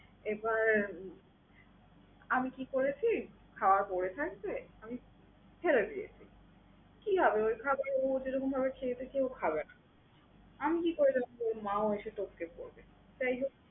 এবার, আমি কি করেছি খাওয়া পড়ে থাকবে? আমি ফেলে দিয়েছি। কি আজব খাবার এমনভাবে খেয়েছে কেউ খাবে না। আমিও ওটা কি করে জানবো ওর মা ও এসে টপকে পড়বে? যাই হোক